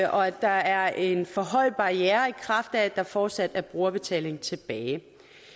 og at der er en for høj barriere i kraft af at der fortsat er brugerbetaling tilbage